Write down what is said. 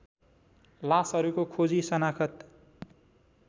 लासहरूको खोजी सनाखत